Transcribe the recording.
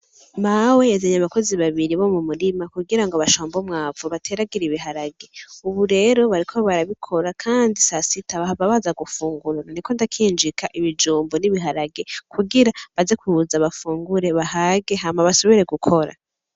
Mawe yazanye abakozi babiri bo mu murima kugirango bashambe umwamvu bateragire ibiharage, ubu rero bariko barabikora kandi sasita bahava baza gufungura, ndiko ndakinjika ibijumbu n'ibiharage kugira baze kuza bafungure bahage, hama basubire gukora.